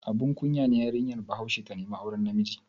Abun kunya ne yarinya Bahaushiya ta nemi auren namiji?